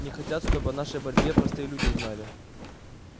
не хотят чтобы о нашей борьбе простые люди узнали